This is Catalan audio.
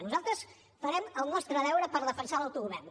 nosaltres farem el nostre deure per defensar l’autogovern